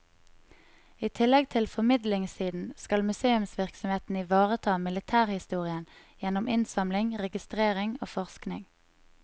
I tillegg til formidlingssiden, skal museumsvirksomheten ivareta militærhistorien gjennom innsamling, registrering og forskning.